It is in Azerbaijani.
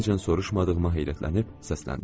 İndiyəcən soruşmadığıma heyrətlənib səsləndim.